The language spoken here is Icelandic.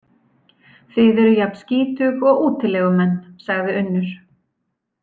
Þið eruð jafn skítug og útilegumenn, sagði Unnur.